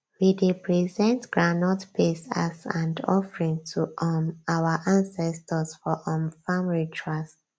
we dey present groundnut paste as and offering to um our ancestors for um farm rituals